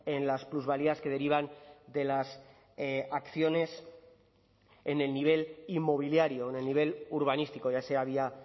en las plusvalías que derivan de las acciones en el nivel inmobiliario en el nivel urbanístico ya sea vía